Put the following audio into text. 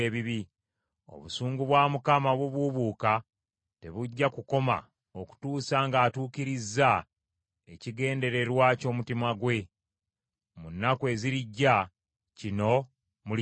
Obusungu bwa Mukama obubuubuuka tebujja kukoma okutuusa ng’atuukirizza ekigendererwa ky’omutima gwe. Mu nnaku ezirijja, kino mulikitegeera.